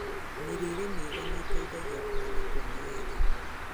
Mĩrĩre mĩega nĩĩteithagia kũhona kwa naihenya